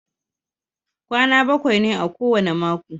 Kwana bakwai ne a kowane mako.